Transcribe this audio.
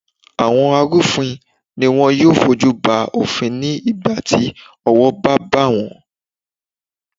Àwọn arú òfin ni wọn yóò fojú ba òfin ní ìgbà tí owó bá bà wón.